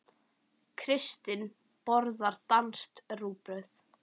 Kristín borðar danskt rúgbrauð.